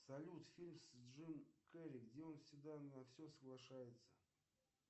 салют фильм с джимом керри где он всегда на все соглашается